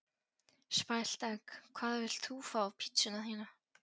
Spælt egg Hvað vilt þú fá á pizzuna þína?